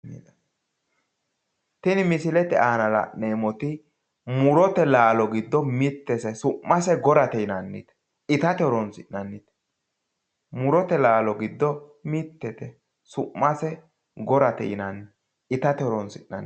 Tini misilete aana la'neemmoti murote laalo giddo mittete su'mase gorate yinanni itate horonsi'nann,i murote laalo giddo mittete su'mase gorate yinanni itate horonsi'nanni